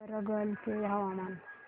वरंगल चे हवामान